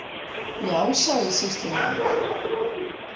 Já, sagði sýslumaður.